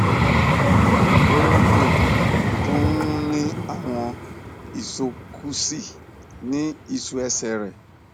ó um tún ń ní àwọn isókúsí ní ìṣú ẹsẹ rẹ